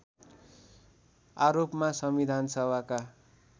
आरोपमा संविधानसभाका